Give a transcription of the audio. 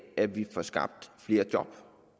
af at vi får skabt flere job